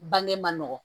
Bange man nɔgɔn